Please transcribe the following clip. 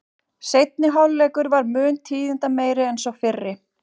Seinni hálfleikur var mun tíðindameiri en sá fyrri.